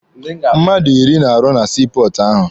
Mmadụ iri na-arụ na sii pọọtụ ahụ.